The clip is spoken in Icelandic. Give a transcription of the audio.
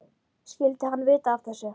Skyldi hann vita af þessu?